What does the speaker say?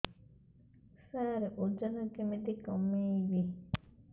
ସାର ଓଜନ କେମିତି କମେଇବି